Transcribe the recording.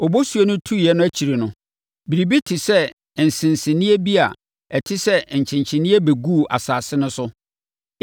obosuo no tuiɛ no akyire no, biribi te sɛ nsenseneeɛ bi a ɛte sɛ nkyenkyeneeɛ bɛguu asase no so.